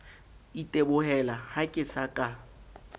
itebohela ha ke sa ka